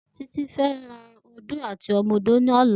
Titi fè ló ódó àtí òmò ódó lòlá